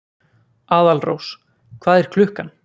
Aðalrós, hvað er klukkan?